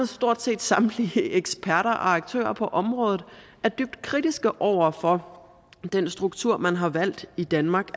stort set samtlige eksperter og aktører på området er dybt kritiske over for den struktur man har valgt i danmark